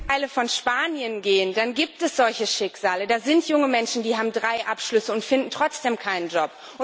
Wenn Sie in einige Teile von Spanien gehen, dann gibt es solche Schicksale. Da sind junge Menschen, die haben drei Abschlüsse und finden trotzdem keinen Job.